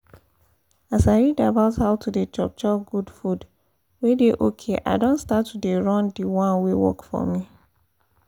as i read about how to dey chop chop good food wey dey okay i don start to dey run d one wey work for me